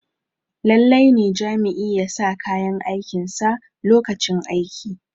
lallai ne Jami'i ya sa kayan aikinsa lokacin aiki